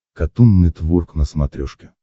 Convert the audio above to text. катун нетворк на смотрешке